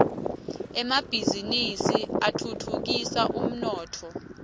emabhisinisi atfutfukisa umnotfo